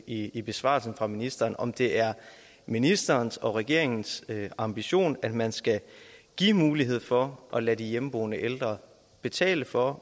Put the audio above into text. i i besvarelsen fra ministeren altså om det er ministerens og regeringens ambition at man skal give mulighed for at lade de hjemmeboende ældre betale for